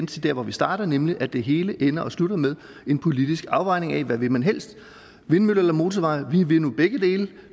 til der hvor vi startede nemlig at det hele ender og slutter med en politisk afvejning af hvad man helst vil vindmøller eller motorveje vi vil nu begge dele